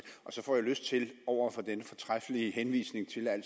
og så får jeg lyst til over for den fortræffelige henvisning til at